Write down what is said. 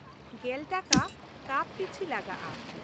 ᱑᱐/ᱼᱴᱟᱠᱟ ᱠᱟᱯ ᱯᱤᱪᱷᱤ ᱞᱟᱜᱟᱜᱼᱟ ᱾